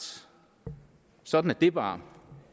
sådan er det bare